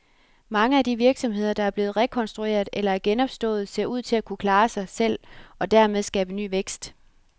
Mange af de virksomheder, der er blevet rekonstrueret eller er genopstået, ser ud til at kunne klare sig selv og dermed skabe ny vækst.